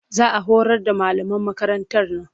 Za a horar da malaman makarantar nan